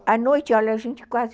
A noite olha, a gente quase